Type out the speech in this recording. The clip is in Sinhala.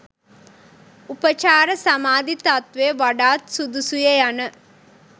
උපචාර සමාධි තත්ත්වය වඩාත් සුදුසුය යන